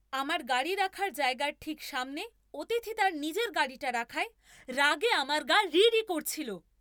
আমার গাড়ি রাখার জায়গার ঠিক সামনে অতিথি তার নিজের গাড়িটা রাখায় রাগে আমার গা রিরি করছিল।